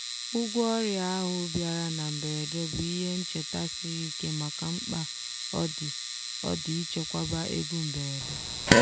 ụgwọ ọrịa ahụ bịara na mberede bụ ihe ncheta siri ike maka mkpa ọ dị ọ dị ichekwaba ego mberede.